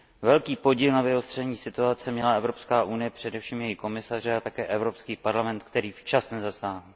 Velký podíl na vyostření situace měla Evropská unie, především její komisaři, a také Evropský parlament, který včas nezasáhl.